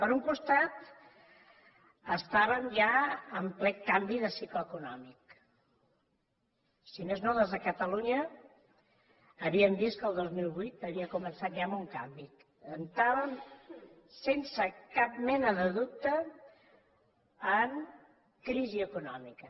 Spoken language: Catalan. per un costat estàvem ja en ple canvi de cicle econòmic si més no des de catalunya havíem vist que el dos mil vuit havia començat ja amb un canvi entràvem sense cap mena de dubte en crisi econòmica